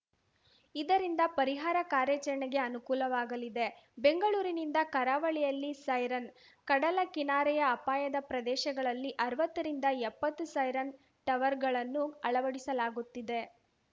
ಇದರಿಂದ ಪರಿಹಾರ ಕಾರ್ಯಾಚರಣೆಗೆ ಅನುಕೂಲವಾಗಲಿದೆ ಬೆಂಗಳೂರಿನಿಂದ ಕರಾವಳಿಯಲ್ಲಿ ಸೈರನ್‌ ಕಡಲ ಕಿನಾರೆಯ ಅಪಾಯದ ಪ್ರದೇಶಗಳಲ್ಲಿ ಅರ್ವತ್ತರಿಂದ ಎಪ್ಪತ್ತು ಸೈರನ್‌ ಟವರ್‌ಗಳನ್ನು ಅಳಡಿಸಲಾಗುತ್ತಿದೆ